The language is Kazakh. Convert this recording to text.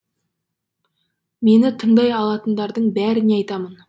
мені тыңдай алатындардың бәріне айтамын